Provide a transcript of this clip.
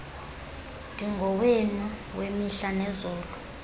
ndingowenu wemihla nezolo